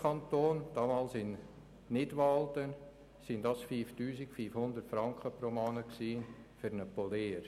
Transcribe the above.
Im Kanton mit dem tiefsten Lohn, damals Nidwalden, waren es 5500 Franken pro Monat für einen Polier.